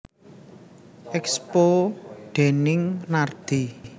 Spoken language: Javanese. Expo déning Nardi